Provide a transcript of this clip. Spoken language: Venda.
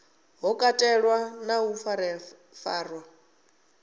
ho katelwa na u farafarwa